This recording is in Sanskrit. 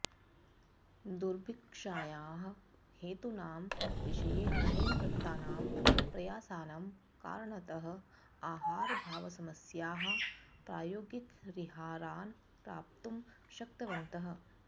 दुर्भिक्षायाः हेतूनां विषये अनेन कृतानां प्रयासानां कारणतः आहाराभावसमस्यायाः प्रायोगिकपरिहारान् प्राप्तुं शक्तवन्तः